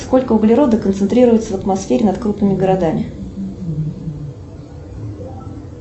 сколько углерода концентрируется в атмосфере над крупными городами